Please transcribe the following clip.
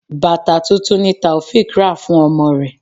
Bàtà tuntun ni Taofiq rà fún ọmọ rẹ.